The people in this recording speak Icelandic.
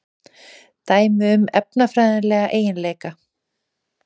Dæmi um efnafræðilega eiginleika.